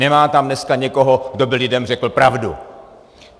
Nemá tam dneska někoho, kdo by lidem řekl pravdu.